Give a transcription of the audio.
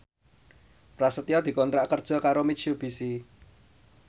Prasetyo dikontrak kerja karo Mitsubishi